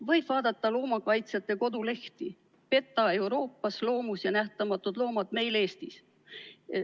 Võib vaadata loomakaitsjate kodulehti, näiteks PETA Euroopas, Loomus ja Nähtamatud Loomad meil Eestis.